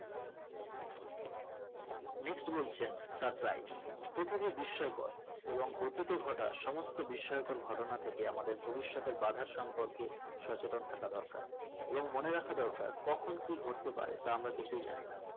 next বলছেন surprise পৃথিবী বিস্ময়কর এবং অতীতে ঘটে সমস্ত বিস্ময়কর ঘটনা থেকে আমাদের ভবিষতের বাধার সম্পর্কে সচেতন থাকা দরকার এবং মনে রাখা দরকার কখন কি ঘতেপারে তা আমরা কিছুই জানি না